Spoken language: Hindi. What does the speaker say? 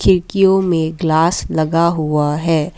खिड़कियों में ग्लास लगा हुआ है।